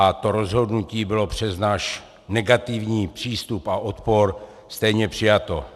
A to rozhodnutí bylo přes náš negativní přístup a odpor stejně přijato.